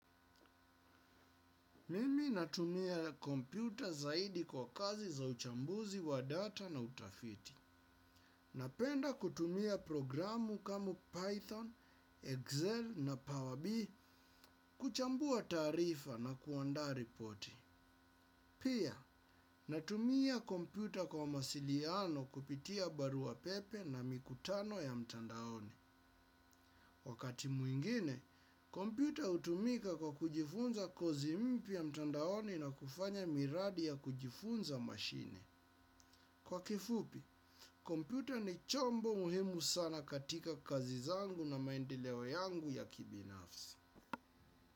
Mimi natumia kompyuta zaidi kwa kazi za uchambuzi wa data na utafiti. Napenda kutumia programu kama Python, Excel na Power B kuchambua taarifa na kuandaa ripoti. Pia, natumia kompyuta kwa mawasiliano kupitia barua pepe na mikutano ya mtandaoni. Wakati mwingine, kompyuta hutumika kwa kujifunza kozi mpya mtandaoni na kufanya miradi ya kujifunza mashine. Kwa kifupi, kompyuta ni chombo muhimu sana katika kazi zangu na maendeleo yangu ya kibinafsi.